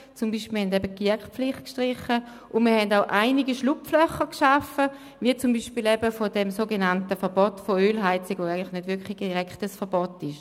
Wir haben beispielsweise die GEAK-Pflicht gestrichen und auch einige Schlupflöcher geschaffen, wie bei diesem sogenannten Verbot von Ölheizungen, das eigentlich nicht wirklich ein direktes Verbot ist.